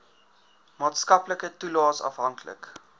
maatskaplike toelaes afhanklik